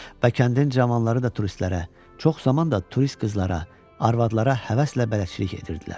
Və kəndin cavanları da turistlərə, çox zaman da turist qızlara, arvadlara həvəslə bələdçilik edirdilər.